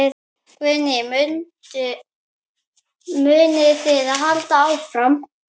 Guðný: Munið þið halda áfram?